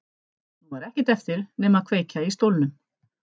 Nú var ekkert eftir nema að kveikja í stólnum.